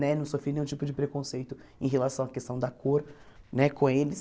Né não sofri nenhum tipo de preconceito em relação à questão da cor né com eles.